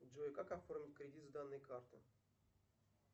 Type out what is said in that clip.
джой как оформить кредит с данной карты